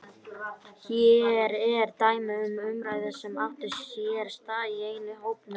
Hér er dæmi um umræðu sem átti sér stað í einum hópnum